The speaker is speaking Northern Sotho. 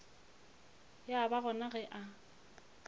ya ba gona ge a